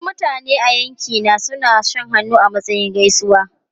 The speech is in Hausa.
Wasu mutane a yankina suna shan hannu a matsayin gaisuwa.